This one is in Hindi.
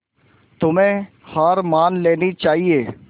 तुम्हें हार मान लेनी चाहियें